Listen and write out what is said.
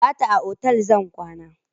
Gata a otal zan kwana.